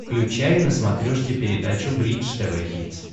включай на смотрешке передачу бридж тв хитс